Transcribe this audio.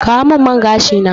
Kawo min man gashi na!